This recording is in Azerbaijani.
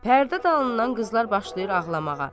Pərdə dalından qızlar başlayır ağlamağa.